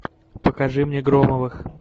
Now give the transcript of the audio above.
покажи мне громовых